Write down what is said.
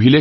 ক্ৰীড়া